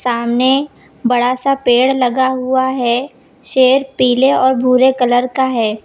सामने बड़ा सा पेड़ लगा हुआ है शेर पीले और भूरे कलर का है।